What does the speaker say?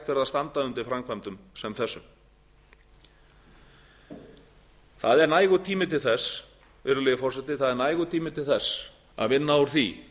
verði að standa undir framkvæmdum sem þessum það er nægur tími til þess virðulegi forseti það er nægur tími til þess að vinna úr því